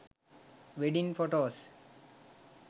wedding photos